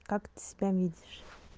как ты себя видишь